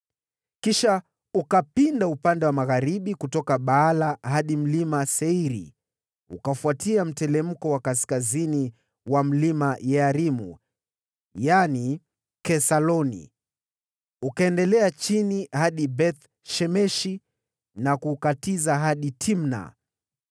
Kisha ukapinda upande wa magharibi kutoka Baala hadi Mlima Seiri, ukafuatia sambamba mteremko wa kaskazini mwa Mlima Yearimu (yaani Kesaloni), ukaendelea chini hadi Beth-Shemeshi na kukatiza hadi Timna.